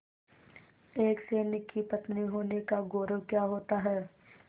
एक सैनिक की पत्नी होने का गौरव क्या होता है